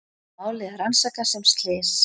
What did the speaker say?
Málið er rannsakað sem slys